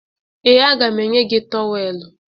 Ee, aga m enye gị tọweelụ